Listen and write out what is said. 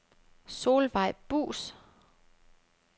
Solvejg Buus